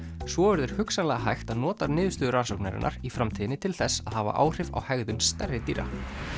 svo verður hugsanlega hægt að nota niðurstöður rannsóknarinnar í framtíðinni til þess að hafa áhrif á hegðun stærri dýra